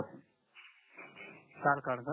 चार card sir